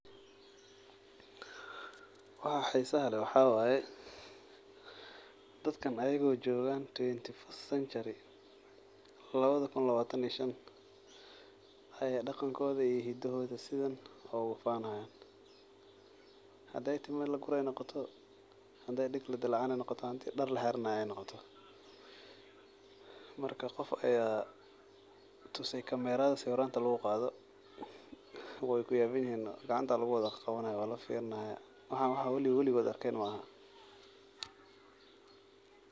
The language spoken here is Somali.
Waxa xisaha leeh waxa waye dadkan iyago jogan twenty first century lawada kuun lawatan iyo shanta ayey daqankoda sidan ogufanayan hadi ey timo lagurayo noqoto hadey dag ladilacinayo noqoto hadey dar laxidanayo noqto maka qof aya tusay kamerada wax lugusawiro kadib wey layaban yihin gacantey kuqawani hayan.